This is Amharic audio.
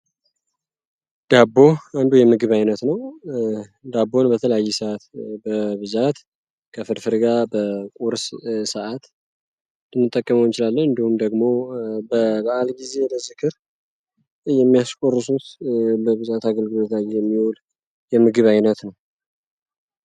ዳቦ የምግብ አይነት በብዛት ከፍርፍር ጋር በቁርስ ሰዓት እንደ ጥቅሞች እንዲሁም ደግሞ ብዛት አገልግሎት የሚዉል የምግብ ዓይነት ነው።